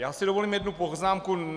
Já si dovolím jednu poznámku.